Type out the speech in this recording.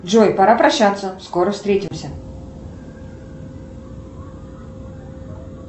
джой пора прощаться скоро встретимся